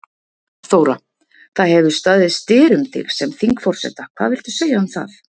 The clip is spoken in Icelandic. Þóra: Það hefur staðið styr um þig sem þingforseta, hvað viltu segja um það?